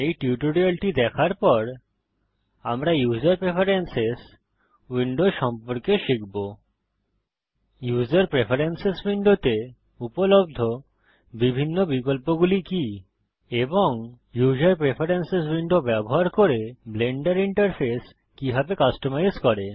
এই টিউটোরিয়ালটি দেখার পর আমরা ইউসার প্রেফেরেন্সেস উইন্ডো সম্পর্কে শিখব ইউসার প্রেফেরেন্সেস উইন্ডোতে উপলব্ধ বিভিন্ন বিকল্পগুলি কি এবং ইউসার প্রেফেরেন্সেস উইন্ডো ব্যবহার করে ব্লেন্ডার ইন্টারফেস কিভাবে কাস্টমাইজ করে